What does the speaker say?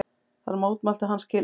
Þar mótmælti hann skilningi